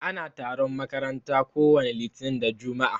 Ana taron makaranta ko wani litinin da jumua'a.